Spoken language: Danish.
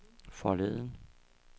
forleden